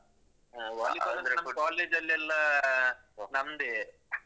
ಹಾ volleyball ಅಂದ್ರೆ college ಲ್ಲೆಲ್ಲ ಆ ನಮ್ದೇ.